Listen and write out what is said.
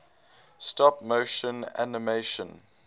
stop motion animation